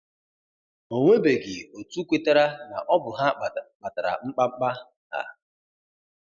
Onwebeghị otu kwetara na ọ bụ ha kpatara mkpamkpa a.